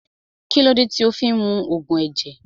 Kílódé tí o fí ń mu Ògùn ẹ̀jẹ̀